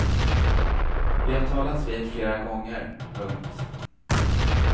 Vi har talats vid flera gånger. punkt